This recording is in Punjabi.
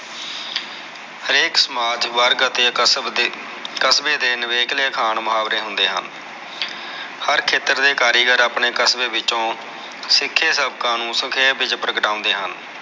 ਹਰੇਕ ਸਮਾਜ ਅਤੇ ਕਸਬੇ ਦੇ ਨਵੇਕਲੇ ਅਖਾਣ ਮੁਹਾਵਰੇ ਹੁੰਦੇ ਹਨ ਹਰ ਖੇਤਰ ਦੇ ਕਾਰੀਗਰ ਆਪਣੇ ਕਸਬੇ ਵਿਚੋ ਸਿਖੇ ਸਭ ਕਾਨੂਨ ਸਖੇਪ ਵਿਚ ਦਰਸਾਉਂਦੇ ਹਨ